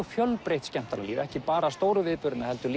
fjölbreytt skemmtanalíf ekki bara stóru viðburðina heldur